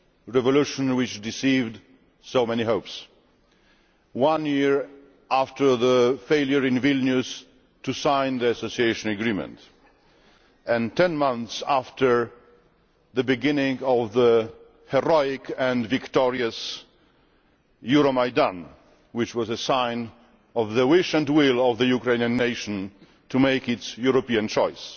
Revolution, which deceived so many hopes, one year after the failure in Vilnius to sign the Association Agreement and 10 months after the beginning of the heroic and victorious Euromaidan, which was a sign of the wish and will of the Ukrainian nation to make its European choice.